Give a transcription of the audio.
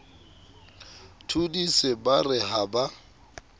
thodise ba re ha ba